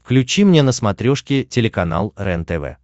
включи мне на смотрешке телеканал рентв